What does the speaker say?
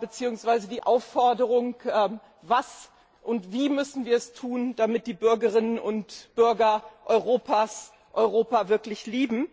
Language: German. beziehungsweise die Aufforderung Was müssen wir und wie müssen wir es tun, damit die Bürgerinnen und Bürger Europas Europa wirklich lieben?